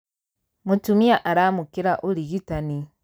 Mũtumia aramũkĩra ũrigitani.